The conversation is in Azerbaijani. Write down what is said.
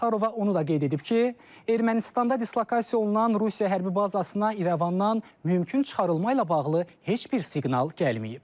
Zaxarova onu da qeyd edib ki, Ermənistanda dislokasiya olunan Rusiya hərbi bazasına İrəvandan mümkün çıxarılma ilə bağlı heç bir siqnal gəlməyib.